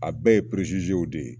A bɛɛ ye peresizew de ye